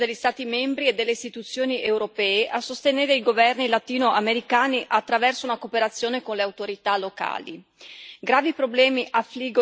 Esso contiene infatti un esplicito impegno degli Stati membri e delle istituzioni europee a sostenere i governi latinoamericani attraverso una cooperazione con le autorità locali.